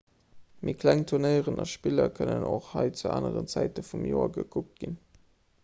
méi kleng tournéiren a spiller kënnen och hei zu aneren zäite vum joer gekuckt ginn